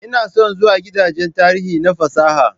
Ina son zuwa gidajen tarihi na fasaha